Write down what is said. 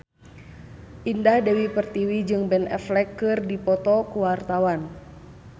Indah Dewi Pertiwi jeung Ben Affleck keur dipoto ku wartawan